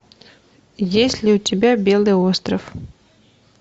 есть ли у тебя белый остров